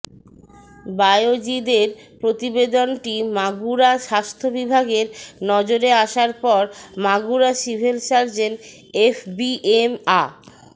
বায়েজিদের প্রতিবেদনটি মাগুরা স্বাস্থ্য বিভাগের নজরের আসার পর মাগুরা সিভিল সার্জন এফবিএম আ